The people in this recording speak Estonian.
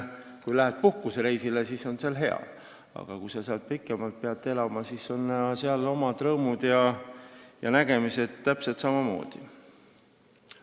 Kui lähed puhkusereisile, siis on kuskil kaugel hea, aga kui sa seal pikemalt pead elama, siis on selge, et seal on täpselt samamoodi omad rõõmud ja arusaamad.